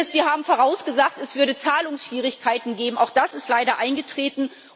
Wir haben vorausgesagt, es würde Zahlungsschwierigkeiten geben auch das ist leider eingetreten.